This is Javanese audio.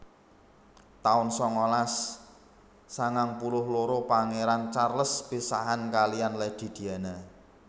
taun sangalas sangang puluh loro Pangéran Charles pisahan kaliyan Lady Diana